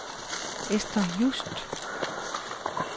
Esther Just